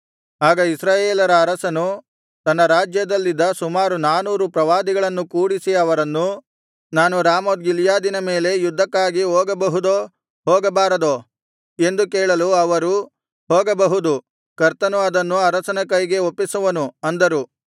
ಆಗ ಇಸ್ರಾಯೇಲರ ಅರಸನು ತನ್ನ ರಾಜ್ಯದಲ್ಲಿದ್ದ ಸುಮಾರು ನಾನೂರು ಪ್ರವಾದಿಗಳನ್ನು ಕೂಡಿಸಿ ಅವರನ್ನು ನಾನು ರಾಮೋತ್ ಗಿಲ್ಯಾದಿನ ಮೇಲೆ ಯುದ್ಧಕಾಗಿ ಹೋಗಬಹುದೋ ಹೋಗಬಾರದೋ ಎಂದು ಕೇಳಲು ಅವರು ಹೋಗಬಹುದು ಕರ್ತನು ಅದನ್ನು ಅರಸನ ಕೈಗೆ ಒಪ್ಪಿಸುವನು ಅಂದರು